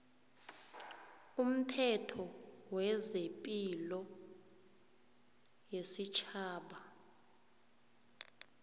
umthetho wezepilo yesitjhaba